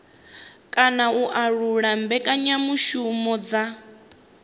kana u laula mbekanyamushumo dza